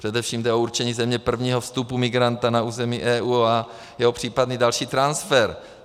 Především jde o určení země prvního vstupu migranta na území EU a jeho případný další transfer.